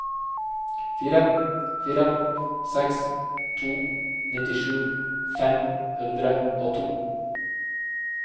fire fire seks to nittisju fem hundre og to